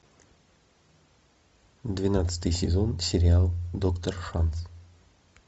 двенадцатый сезон сериал доктор шанс